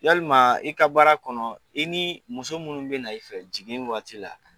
Yalima i ka baara kɔnɔ, i ni muso minnu bɛ na i fɛ jigin waati la;